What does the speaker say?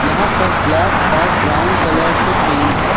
यहां पर ब्लैक और ब्राउन कलर से पेंट है।